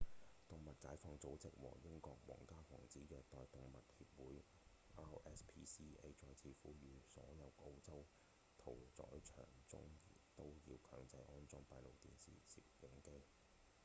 動物解放組織和英國皇家防止虐待動物協會 rspca 再次呼籲所有澳洲屠宰場中都要強制安裝閉路電視攝影機